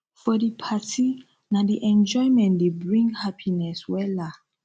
for di party na di enjoyment dey bring hapiness wella